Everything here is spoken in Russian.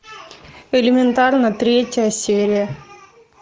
элементарно третья серия